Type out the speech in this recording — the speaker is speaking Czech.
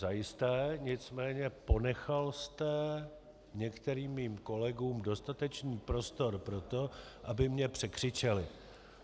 Zajisté, nicméně ponechal jste některým mým kolegům dostatečný prostor pro to, aby mě překřičeli.